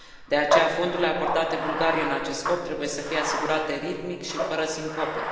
De aceea, fondurile acordate Bulgariei în acest scop, trebuie să fie asigurate ritmic și fără sincope.